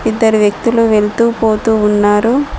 ఇద్దరు వ్యక్తులు వెళుతూ పోతూ ఉన్నారు.